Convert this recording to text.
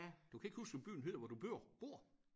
Du kan ikke huske hvad byen hedder hvor du bor bor?